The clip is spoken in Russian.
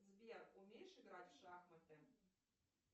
сбер умеешь играть в шахматы